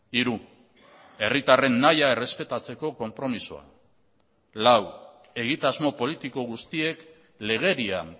hiru herritarren nahia errespetatzeko konpromisoa lau egitasmo politiko guztiek legedian